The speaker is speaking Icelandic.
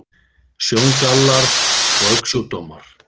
Sjóngallar og augnsjúkdómar